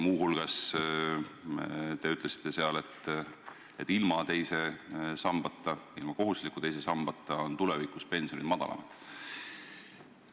Muu hulgas te ütlesite seal, et ilma kohustusliku teise sambata on tulevikus pensionid madalamad.